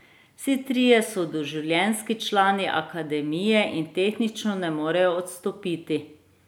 Vsi trije so doživljenjski člani akademije in tehnično ne morejo odstopiti.